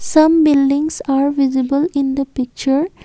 some buildings are visible in the picture.